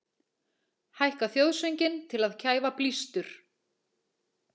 Hækka þjóðsönginn til að kæfa blístur